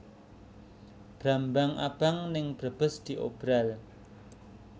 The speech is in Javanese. Brambang abang ning Brebes diobral